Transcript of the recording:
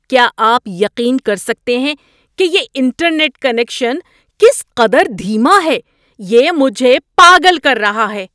کیا آپ یقین کر سکتے ہیں کہ یہ انٹرنیٹ کنکشن کس قدر دھیما ہے؟ یہ مجھے پاگل کر رہا ہے!